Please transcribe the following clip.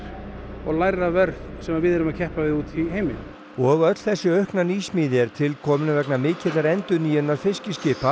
og lægra verð sem við erum að keppa við úti í heimi og öll þessi aukna nýsmíði er tilkomin vegna mikillar endurnýjunar fiskiskipa